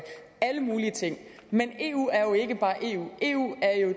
alle mulige ting men eu er jo ikke bare eu eu er jo